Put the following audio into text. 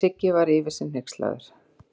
Siggi var yfir sig hneykslaður.